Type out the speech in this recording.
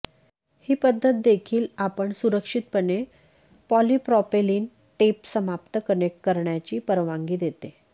ही पद्धत देखील आपण सुरक्षितपणे पॉलिप्रॉपेलिन टेप समाप्त कनेक्ट करण्याची परवानगी देते